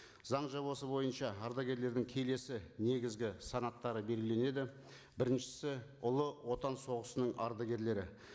заң жобасы бойынша ардагерлердің келесі негізгі санаттары белгіленеді біріншісі ұлы отан соғысының ардагерлері